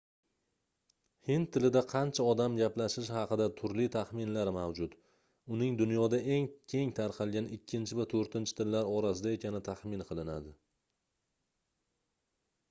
hind tilida qancha odam gaplashishi haqida turli taxminlar mavjud uning dunyoda eng keng tarqalgan ikkinchi va toʻrtinchi tillar orasida ekani taxmin qilinadi